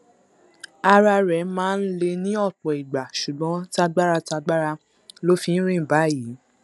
ara rẹ máa ń le ní ọpọ ìgbà ṣùgbọn tagbára tagbára ló fi ń rìn báyìí